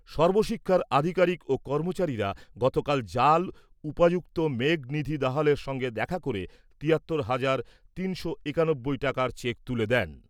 সর্বশিক্ষার আধিকারিক ও কর্মচারীরা গতকাল জাল উপায়ুক্ত মেঘ নিধি দাহালের সঙ্গে দেখা করে তিয়াত্তর হাজার তিনশো একানব্বই টাকার চেক তুলে দেন।